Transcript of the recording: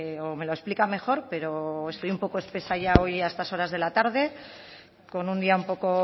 o me lo explica mejor pero estoy un poco espesa ya hoy a estas horas de la tarde con un día un poco